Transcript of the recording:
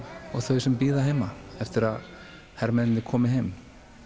og þau sem bíða heima eftir að hermennirnir komi heim